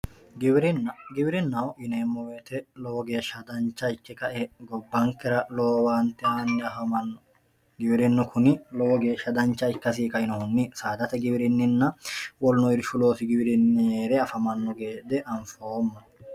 giwirinna giwirinnaho yineemo woyiite lowo geesha dancha ikke ka"e gobankera lowo owaante aano giwirinnu kuni lowo geesha dancha ikkasi ka"inohunni saadate giwirinninna woluno irshu loosi giwirinni heere afamanno gede anfoomo.